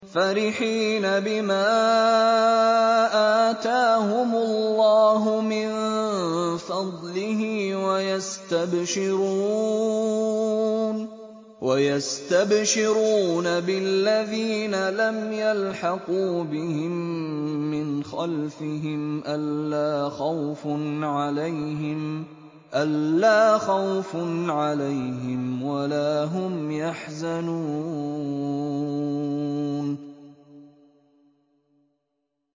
فَرِحِينَ بِمَا آتَاهُمُ اللَّهُ مِن فَضْلِهِ وَيَسْتَبْشِرُونَ بِالَّذِينَ لَمْ يَلْحَقُوا بِهِم مِّنْ خَلْفِهِمْ أَلَّا خَوْفٌ عَلَيْهِمْ وَلَا هُمْ يَحْزَنُونَ